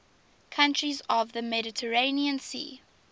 countries of the mediterranean sea